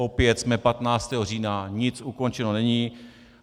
Opět jsme 15. října, nic ukončeno není.